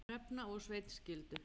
Hrefna og Sveinn skildu.